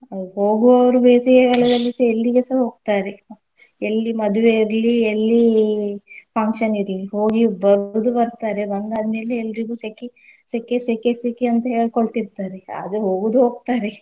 ಅ ಹೋಗುವವರು ಬೇಸಿಗೆ ಗಾಲದಲ್ಲಿಸ ಎಲ್ಲಿಗೆಸ ಹೋಗ್ತಾರೆ. ಎಲ್ಲಿ ಮದುವೆ ಇರ್ಲಿ ಎಲ್ಲಿ function ಇರ್ಲಿ ಹೋಗಿ ಬರುದು ಬರ್ತಾರೆ ಬಂದಾದ್ಮೇಲೆ ಎಲ್ರಿಗು ಸೆಖಿ ಸೆಖೆ ಸೆಖೆ ಸೆಖೆ ಅಂತ ಹೇಳ್ಕೋಳ್ತೀರ್ತಾರೆ ಇರ್ತಾರೆ ಆದ್ರೆ ಹೋಗುದ್ ಹೋಗ್ತಾರೇ.